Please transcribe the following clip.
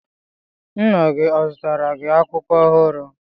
Nna gi ọ zụtara gi akwụkwọ ọhụrụ?